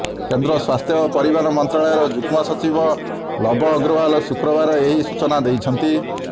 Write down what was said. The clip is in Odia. କେନ୍ଦ୍ର ସ୍ୱାସ୍ଥ୍ୟ ଓ ପରିବାର ମନ୍ତ୍ରାଳୟ ଯୁଗ୍ମ ସଚିବ ଲବ ଅଗ୍ରୱାଲ୍ ଶୁକ୍ରବାର ଏହି ସୂଚନା ଦେଇଛନ୍ତି